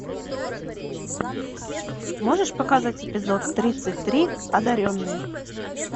можешь показать эпизод тридцать три одаренные